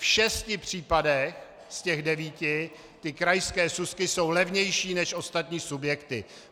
V šesti případech z těch devíti ty krajské súsky jsou levnější než ostatní subjekty.